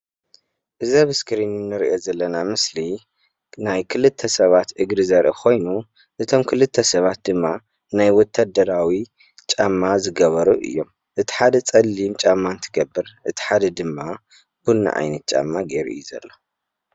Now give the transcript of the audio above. እዚ አብ እስክሪን እንሪኦ ዘለና ምስሊ ናይ ክልተ ሰባት እግሪ ዘርኢ ኮይኑ እቶም ክልተ ሰባት ድማ ናይ ወታደራዊ ጫማ ዝገበሩ እዮም። እቲ ሓደ ፀሊም ጫማ እንትገብር እቲ ሓደ ድማ ቡና ዓይነት ጫማ ገይሩ እዩ ዘሎ።